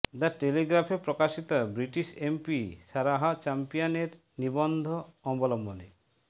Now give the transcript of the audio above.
the টেলিগ্রাফে প্রকাশিত British MP Sarah Champion এর নিবন্ধ অবলম্বনে